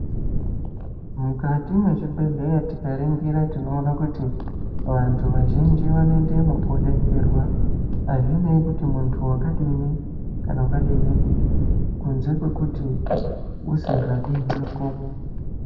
Mukati mwe zvibhedhleya tika ningira tinoona kuti vantu vazhinji vano endemo ko detserwa azvinei kuti muntu wakadini kana wakadini kunze kwekuti usinga diwiko.